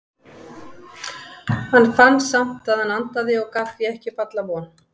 Hann fann samt að hann andaði og gaf því ekki upp alla von.